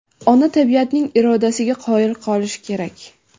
Ona tabiatning irodasiga qoyil qolish kerak.